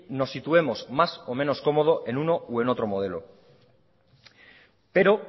nos situemos más o menos cómodo en uno u otro modelo pero